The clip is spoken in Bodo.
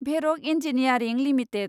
भेरक इन्जिनियारिं लिमिटेड